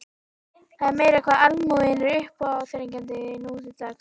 Það er meira hvað almúginn er uppáþrengjandi nú til dags.